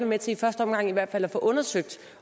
med til i første omgang i hvert fald at få undersøgt